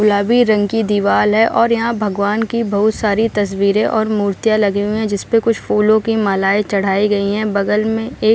गुलाबी रंग की दीवाल है और यहाँ भगवान की बहुत सारी तस्वीरें और मूर्तियां लगी हुई हैं जिसपे कुछ फूलो की मालाएं चढ़ाई गई हैं बगल में एक --